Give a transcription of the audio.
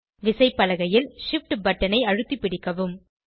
விசைப்பலகையில் Shift பட்டனை அழுத்தி பிடிக்கவும்